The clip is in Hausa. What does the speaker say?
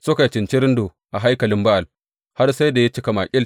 Suka yi cincirindo a haikalin Ba’al har sai da ya cika makil.